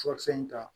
Furakisɛ in ta